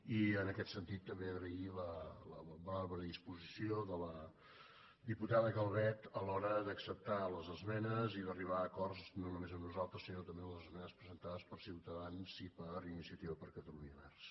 i en aquest sentit també agrair la bona predisposició de la diputada calvet a l’hora d’acceptar les esmenes i d’arribar a acords no només amb nosaltres sinó també en les esmenes presentades per ciutadans i per iniciativa per catalunya verds